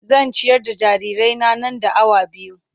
Zan ciyar da jarirai na, nan da awa biyu.